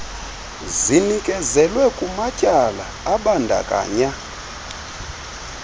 zinikezelwe kumatyala abandakanya